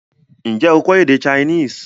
N jẹ́ o kọ́ èdè Chinese?